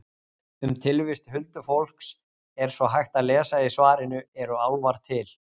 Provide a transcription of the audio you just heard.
Um tilvist huldufólks er svo hægt að lesa í svarinu Eru álfar til?